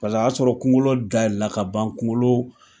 Paseke a y'a sɔrɔ kunko dayɛlɛ la ka ban , kunkolo